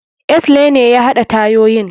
Axle ne ya haɗa tayoyin.